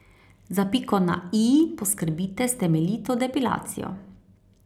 Za piko na i poskrbite s temeljito depilacijo.